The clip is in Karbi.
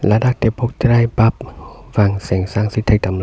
ladak tebok terai bak vang seng sang si thek damlong.